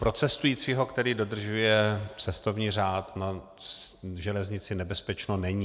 Pro cestujícího, který dodržuje cestovní řád, na železnici nebezpečno není.